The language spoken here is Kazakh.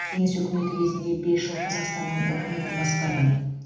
кеңес өкіметі кезінде бес жыл қазақстанның үкіметін басқардым